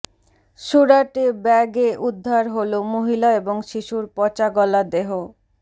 সুরাটে ব্যাগে উদ্ধার হল মহিলা এবং শিশুর পচাগলা দেহ